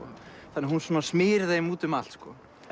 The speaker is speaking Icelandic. þannig að hún smyr þeim út um allt